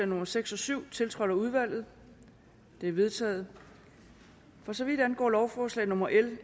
nummer seks og syv tiltrådt af udvalget de er vedtaget for så vidt angår lovforslag nummer l